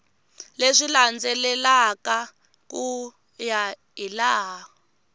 leswi landzelaka ku ya hilaha